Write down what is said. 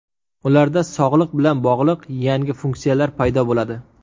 Ularda sog‘liq bilan bog‘liq yangi funksiyalar paydo bo‘ladi.